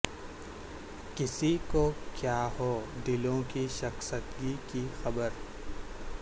کسی کو کیا ہو دلوں کی شکستگی کی خبر